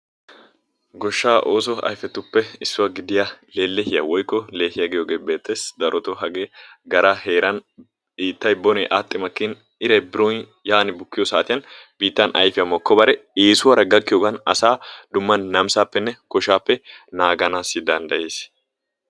Goshshaa oosso ayfettuppe issuwa giyooge lellehiya giyoogee beettees. darotoo hagee gara heeran biittay aadhi makin, biitan ayfiya moogobare, eesuwara gakkiyogan asaa koshshaappe naaganawu maadees.